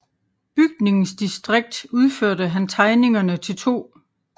Bygningsdistrikt udførte han tegningerne til 2